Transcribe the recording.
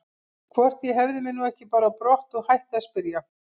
Hvort ég hefði mig nú ekki bara á brott og hætti að spyrja.